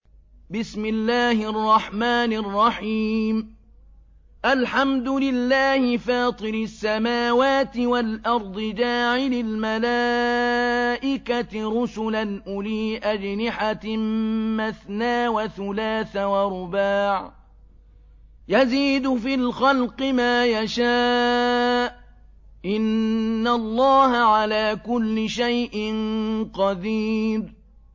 الْحَمْدُ لِلَّهِ فَاطِرِ السَّمَاوَاتِ وَالْأَرْضِ جَاعِلِ الْمَلَائِكَةِ رُسُلًا أُولِي أَجْنِحَةٍ مَّثْنَىٰ وَثُلَاثَ وَرُبَاعَ ۚ يَزِيدُ فِي الْخَلْقِ مَا يَشَاءُ ۚ إِنَّ اللَّهَ عَلَىٰ كُلِّ شَيْءٍ قَدِيرٌ